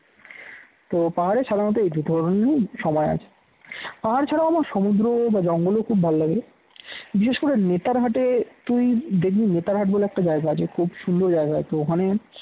তো পাহাড়ে সাধারণত এই দুই ধরনেরই সময় আছে পাহাড় ছাড়া আমার সমুদ্র বা জঙ্গল ও খুব ভালো লাগে বিশেষ করে নেতার হাটে তুই দেখবি নেতারহাট বলে একটা জায়গা আছে খুব সুন্দর জায়গা আছে ওখানে